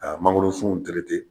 a mangoro sunw terete.